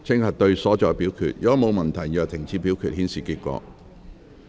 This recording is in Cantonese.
如果沒有問題，現在停止表決，顯示結果。